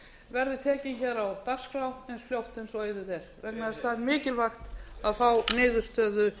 verði tekin á dagskrá eins fljótt og auðið er vegna þess að það er mikilvægt að fá niðurstöðu